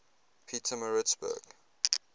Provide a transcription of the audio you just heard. pietermaritzburg